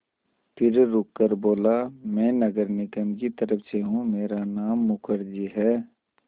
फिर रुककर बोला मैं नगर निगम की तरफ़ से हूँ मेरा नाम मुखर्जी है